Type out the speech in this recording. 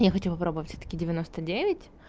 я хочу попробовать всё-таки девяноста девять